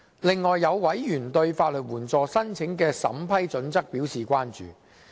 再者，有委員對法律援助申請的審批準則表示關注。